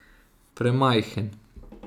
Premajhen.